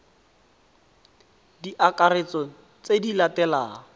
di akaretsa tse di latelang